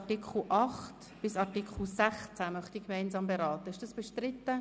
Artikel 8 bis 16. Ist die gemeinsame Beratung dieser Artikel bestritten?